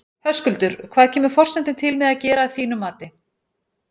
Höskuldur, hvað kemur forsetinn til með að gera að þínu mati?